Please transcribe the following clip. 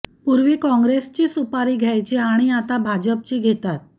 पूर्वी काँग्रेसची सुपारी घ्यायचे आणि आता भाजपची घेतात